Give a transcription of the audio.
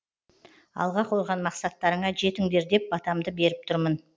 алға қойған мақсаттарыңа жетіңдер деп батамды беріп тұрмын